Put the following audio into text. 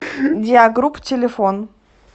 диагрупп телефон